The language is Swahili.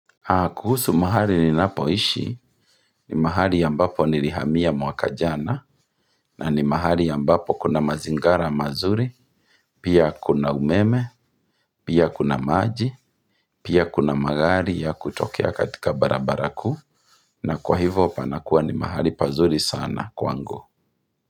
Kuhusu mahali ninapoishi ni mahali ambapo nilihamia mwakajana na ni mahali ambapo kuna mazingara mazuri, pia kuna umeme, pia kuna maji, pia kuna magari ya kutokea katika barabara kuu na kwa hivyo panakuwa ni mahali pazuri sana kwa ngu.